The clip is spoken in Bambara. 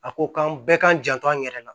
A ko k'an bɛɛ k'an janto an yɛrɛ la